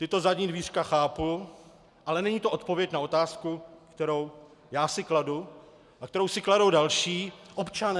Tato zadní dvířka chápu, ale není to odpověď na otázku, kterou já si kladu a kterou si kladou další občané.